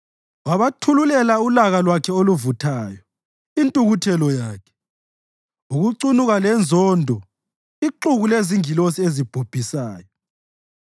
Wabathululela ulaka lwakhe oluvuthayo, intukuthelo yakhe, ukucunuka lenzondo ixuku lezingilosi ezibhubhisayo.